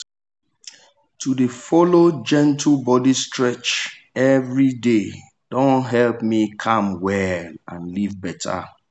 to dey follow gentle body stretch every day don help me calm well and live better.